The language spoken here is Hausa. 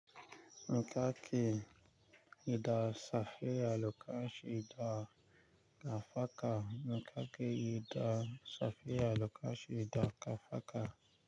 Yi kake, idan safiya lokaci da safaka. Ni kaki, idan safiya lokaci da safaka.